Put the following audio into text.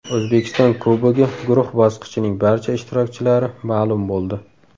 O‘zbekiston Kubogi guruh bosqichining barcha ishtirokchilari ma’lum bo‘ldi.